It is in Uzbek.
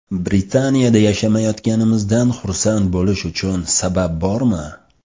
Britaniyada yashamayotganimizga xursand bo‘lish uchun sabab bormi?